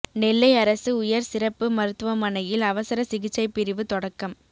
நெல்லை அரசு உயா் சிறப்பு மருத்துவமனையில் அவசர சிகிச்சை பிரிவு தொடக்கம்